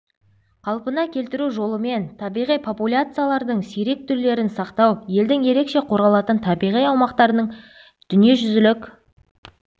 қалпына келтіру жолымен табиғи популяциялардың сирек түрлерін сақтау елдің ерекше қорғалатын табиғи аумақтарын ның дүниежүзілік